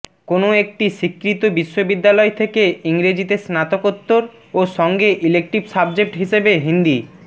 কোন একটি স্বীকৃত বিশ্ববিদ্যালয় থেকে ইংরেজিতে স্নাতকোত্তর ও সঙ্গে ইলেক্টিভ সাবজেক্ট হিসেবে হিন্দি